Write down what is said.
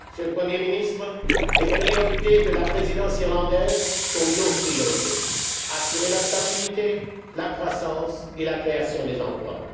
Monsieur le Premier ministre, les priorités de la Présidence irlandaise sont nos priorités assurer la stabilité, la croissance et la création d'emplois.